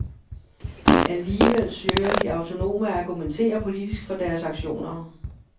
Alligevel søger de autonome at argumentere politisk for deres aktioner.